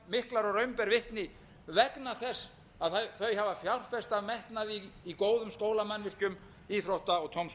ber vitni vegna þess að þau hafa fjárfest af metnaði í góðum skólamannvirkjum íþrótta og tómstundamannvirkjum og